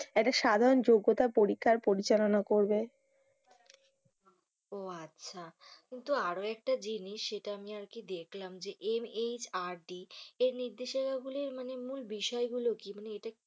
একটা সাধারণ যোগ্যতার পরীক্ষা পরিচালনা করবে। ও আচ্ছা কিন্তু আরো একটা জিনিস সেটা আমি আরকি দেখলাম যে MHRD এর নির্দেশিকা গুলির মূল বিষয় গুলি কি? মানে এটা